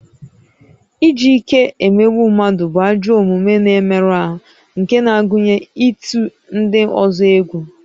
Iji ike emegbu mmadụ bụ ajọ omume na-emerụ ahụ nke na-agụnye ịtụ ndị ọzọ egwu